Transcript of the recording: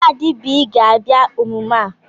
Kadi B ga-abịa emume a